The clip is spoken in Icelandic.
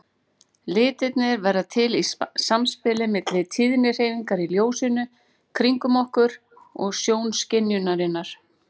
Litirnir verða til í samspili milli tíðnidreifingar í ljósinu kringum okkur og sjónskynjunarinnar.